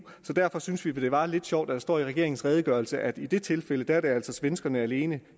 så derfor syntes vi det var lidt sjovt at der står i regeringens redegørelse at i det tilfælde er det altså svenskerne alene